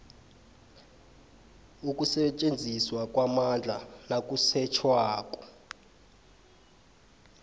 ukusetjenziswa kwamandla nakusetjhwako